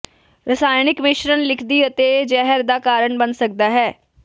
ਰਸਾਇਣਕ ਮਿਸ਼ਰਣ ਲਿਖਦੀ ਅਤੇ ਜ਼ਹਿਰ ਦਾ ਕਾਰਨ ਬਣ ਸਕਦਾ ਹੈ